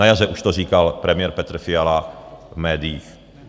Na jaře už to říkal premiér Petr Fiala v médiích.